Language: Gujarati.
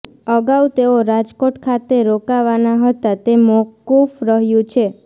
અગાઉ તેઓ રાજકોટ ખાતે રોકાવાના હતા તે મોકૂફ રહ્યું છે